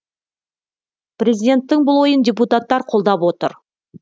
президенттің бұл ойын депутаттар қолдап отыр